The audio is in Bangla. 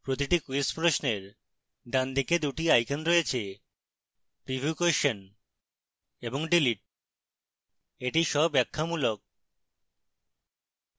প্রতিটি quiz প্রশ্নের ডানদিকে দুটি icons রয়েছে: preview question এবং delete